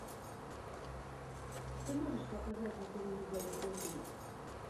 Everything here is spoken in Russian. ты можешь показать на телевизоре о три